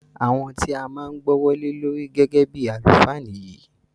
Àwọn ti a máa gbọ́wọ́ lé lórí gẹ́gẹ́ bíi àlùfáà nìyí.